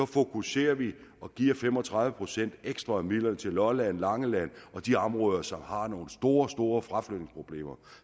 fokuserer vi og giver fem og tredive procent ekstra af midlerne til lolland langeland og de områder som har nogle store store fraflytningsproblemer